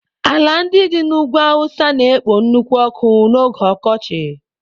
Ala ndị dị n'ugwu awụsa na-ekpo nnukwu ọkụ n'oge ọkọchị.